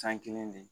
San kelen de